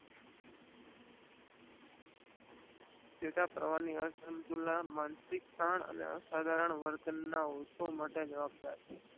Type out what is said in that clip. ચેતાપ્રવાહ ની અસુંતલતા માનસિકતા અસાધારણ વર્તન ના લોકો માટે જવાબ દાર છે.